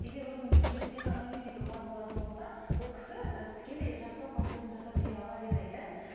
егер өзінің психоаналитика бар болатын болса ол кісі тікелей жақсылап портретін жасап бере алар еді иә